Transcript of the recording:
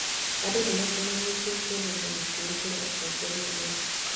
Andũ nĩ maacemanĩtie kuonania gĩtĩo kũrĩ atongoria erũ.